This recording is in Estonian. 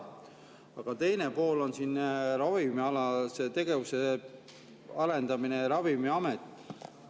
Aga teine pool on siin ravimialase tegevuse arendamine ja Ravimiamet.